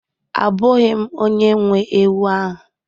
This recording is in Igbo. Abụghị m onye nwe ewu ahụ